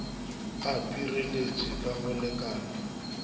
a pireletpwe ka go lekana